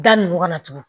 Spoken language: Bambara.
Da ninnu ka na tugun